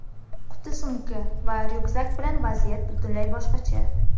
Quti-sumka va ryukzak bilan vaziyat butunlay boshqacha.